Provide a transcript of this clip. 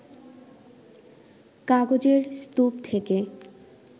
কাগজের স্তূপ থেকে